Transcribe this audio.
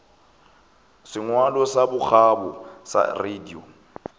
sengwalo sa bokgabo sa radio